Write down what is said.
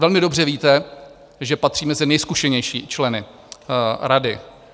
Velmi dobře víte, že patří mezi nejzkušenější členy rady.